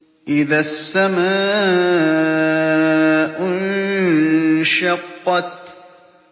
إِذَا السَّمَاءُ انشَقَّتْ